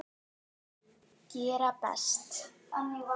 Gera best.